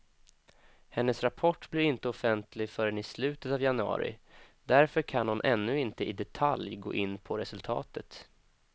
Hennes rapport blir inte offentlig förrän i slutet av januari, därför kan hon ännu inte i detalj gå in på resultatet.